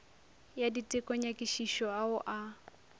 ya diteko nyakišišo ao a